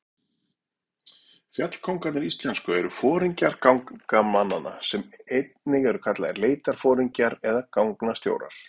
Fjallkóngarnir íslensku eru foringjar gangnamanna, einnig kallaðir leitarforingjar eða gangnastjórar.